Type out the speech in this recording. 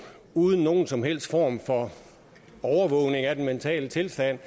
uden nogen som helst form for overvågning af den mentale tilstand